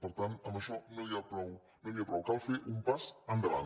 per tant amb això no n’hi ha prou cal fer un pas endavant